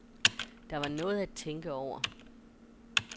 Der var noget at tænke over.